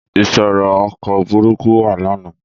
Ìṣòro ọkọ̀ burúkú wà lánàá.